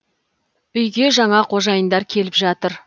үйге жаңа қожайындар келіп жатыр